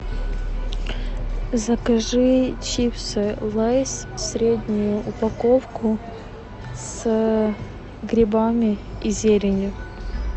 закажи чипсы лейс среднюю упаковку с грибами и зеленью